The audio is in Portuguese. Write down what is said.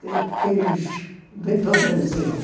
que quis vir para o Brasil.